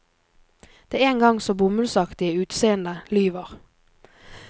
Det en gang så bomullsaktige utseendet lyver.